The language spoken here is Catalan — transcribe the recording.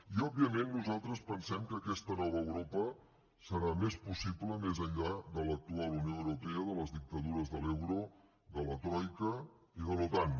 i òbviament nosaltres pensem que aquesta nova europa serà més possible més enllà de l’actual unió europea de les dictadures de l’euro de la troica i de l’otan